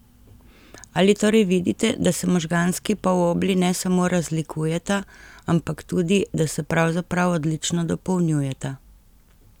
Ali torej vidite, da se možganski polobli ne samo razlikujeta, ampak tudi da se pravzaprav odlično dopolnjujeta?